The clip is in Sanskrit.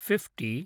फिफ्टि